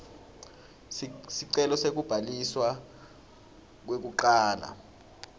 sicelo sekubhaliswa kwekucala